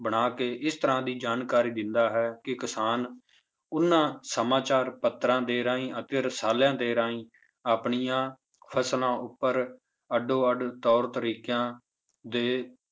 ਬਣਾ ਕੇ ਇਸ ਤਰ੍ਹਾਂ ਦੀ ਜਾਣਕਾਰੀ ਦਿੰਦਾ ਹੈ ਕਿ ਕਿਸਾਨ ਉਹਨਾਂ ਸਮਾਚਾਰ ਪੱਤਰਾਂ ਦੇ ਰਾਹੀਂ ਅਤੇ ਰਸ਼ਾਲਿਆਂ ਦੇ ਰਾਹੀਂ ਆਪਣੀਆਂ ਫਸਲਾਂ ਉੱਪਰ ਅੱਡੋ ਅੱਡ ਤੌਰ ਤਰੀਕਿਆਂ ਦੇ